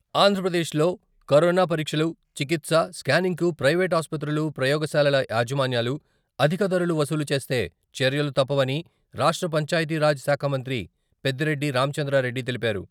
ఆంధ్రప్రదేశ్లో కరోనా పరీక్షలు, చికిత్స, స్కానింగ్కు ప్రవేట్ ఆస్పత్రులు, ప్రయోగశాలల యాజమాన్యాలు అధిక ధరలు వసూలు చేస్తే చర్యలు తప్పవని రాష్ట్ర పంచాయతీరాజ్ శాఖ మంత్రి పెద్దిరెడ్డి రామచంద్రారెడ్డి తెలిపారు.